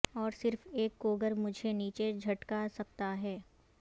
اور صرف ایک کوگر مجھے نیچے جھٹکا سکتا ہے